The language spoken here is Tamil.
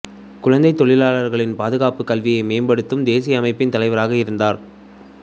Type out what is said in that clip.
குழந்தைத் தொழிலாளர்களின் பாதுகாப்பு கல்வியை மேம்படுத்தும் தேசிய அமைப்பின் தலைவராக இருந்தார்